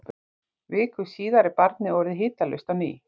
viku síðar er barnið orðið hitalaust á ný